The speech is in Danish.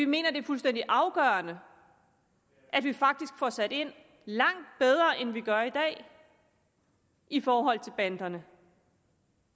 mener det er fuldstændig afgørende at vi faktisk får sat ind langt bedre end vi gør i dag i forhold til banderne